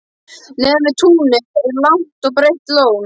Neðan við túnið er langt og breitt lón.